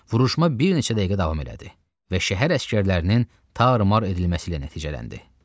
Vuruşma bir neçə dəqiqə davam elədi və şəhər əsgərlərinin tarmar edilməsi ilə nəticələndi.